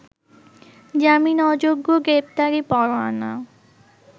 জামিন অযোগ্য গ্রেপ্তারি পরোয়ানা